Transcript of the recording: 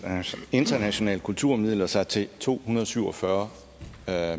internationale kulturmidler sig til to hundrede og syv og fyrre